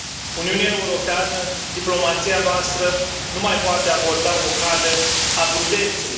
Uniunea Europeană, diplomația noastră nu mai poate aborda o cale a prudenței.